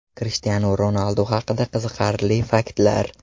Krishtianu Ronaldu haqida qiziqarli faktlar.